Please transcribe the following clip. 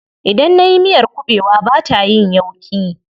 Idan nayi miyar kuɓewa bata yin yauƙi.